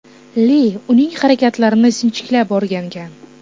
Li uning harakatlarini sinchiklab o‘rgangan.